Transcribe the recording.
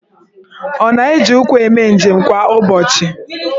Ọ na-eji ụkwụ eme njem kwa ụbọchị?